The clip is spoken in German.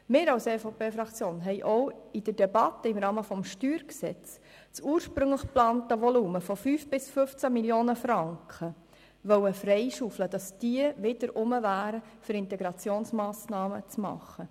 Wir als EVP-Fraktion wollten auch in der Debatte im Rahmen des Steuergesetzes (StG) das ursprünglich geplante Volumen von 5 bis 15 Mio. Franken freischaufeln, damit dieser Betrag wieder vorhanden wäre, um Integrationsmassnahmen zu realisieren.